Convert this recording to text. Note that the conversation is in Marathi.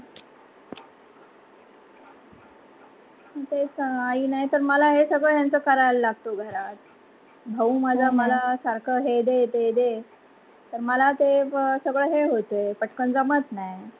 तेच तर आई नाही तर मला हे सगळं यांचं कराव लागत घरात. भाऊ मज सारख हे दे ते दे तर मला सगळं ते होते पटकन जमत नाही.